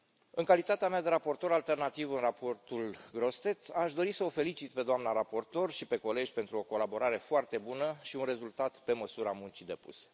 În calitatea mea de raportor alternativ în raportul Grossetête, aș dori să o felicit pe doamna raportor și pe colegi pentru o colaborare foarte bună și un rezultat pe măsura muncii depuse.